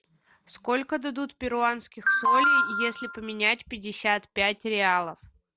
сколько дадут перуанских солей если поменять пятьдесят пять реалов